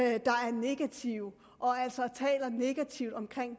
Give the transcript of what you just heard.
negative og altså taler negativt om